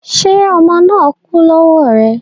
Ṣé ọmọ náà kú lọ́wọ́ rẹ